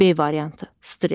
B variantı: Stress.